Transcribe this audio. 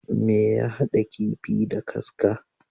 Me ya haɗa kifii da kaska?